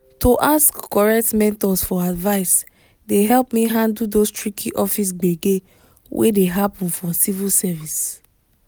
to ask correct mentors for advice dey help me handle those tricky office gbege wey dey happen for civil service.